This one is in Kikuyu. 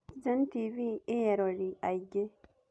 Citizen TV ĩĩ eroreri aingĩ.